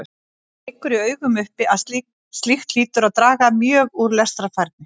Það liggur í augum uppi að slíkt hlýtur að draga mjög úr lestrarfærni.